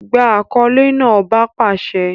Gba akọle naa! ọba pàṣẹ!